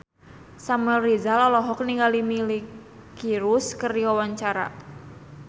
Samuel Rizal olohok ningali Miley Cyrus keur diwawancara